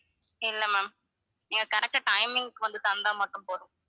இல்ல ma'am நீங்க correct ஆ timing க்கு வந்து தந்தா மட்டும் போதும்.